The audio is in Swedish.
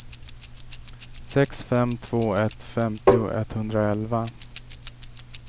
sex fem två ett femtio etthundraelva